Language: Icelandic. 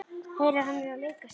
Heyrir að hann er að leika sér.